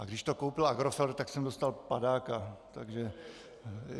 A když to koupil Agrofert, tak jsem dostal padáka.